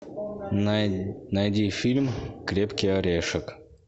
найди фильм крепкий орешек